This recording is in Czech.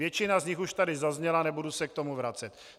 Většina z nich už tady zazněla, nebudu se k tomu vracet.